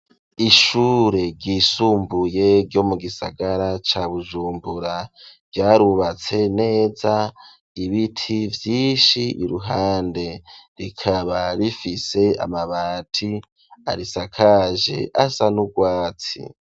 Ishure ryisumbuye ryo mu gisagara ca Bujumbura ryarubatse neza ibiti vyishi iruhande rikaba rifise amabati arisakaje asa n'urwatsi.